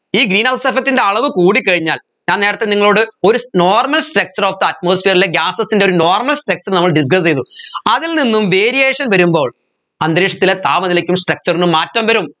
ഈ greenhouse effect ൻറെ അളവ് കൂടിക്കഴിഞ്ഞാൽ ഞാൻ നേരത്തെ നിങ്ങളോട് ഒരു normal structure of the atmosphere ലെ gases ൻറെ ഒരു normal structure നമ്മൾ discuss ചെയ്തു അതിൽ നിന്നും variation വരുമ്പോൾ അന്തരീക്ഷത്തിലെ താപനിലയ്ക്കും സ structure നും മാറ്റം വരും